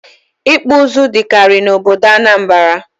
Ịkpụ ụzụ dịkarị n'obodo Anambra